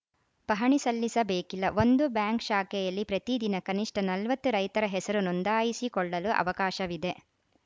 ಪಹಣಿ ಸಲ್ಲಿಸ ಬೇಕಿಲ್ಲ ಒಂದು ಬ್ಯಾಂಕ್‌ ಶಾಖೆಯಲ್ಲಿ ಪ್ರತಿದಿನ ಕನಿಷ್ಟ ನಲವತ್ತು ರೈತರ ಹೆಸರು ನೋಂದಾಯಿಸಿಕೊಳ್ಳಲು ಅವಕಾಶವಿದೆ